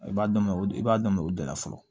I b'a daminɛ o i b'a daminɛ o de la fɔlɔ